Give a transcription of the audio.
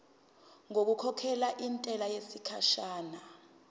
ngokukhokhela intela yesikhashana